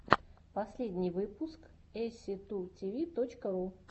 последний выпуск эсситутиви точка ру